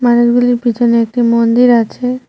মানুষগুলির পিছনে একটি মন্দির আছে।